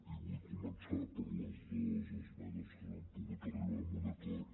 i vull començar per les dos esmenes en què no hem pogut arribar a un acord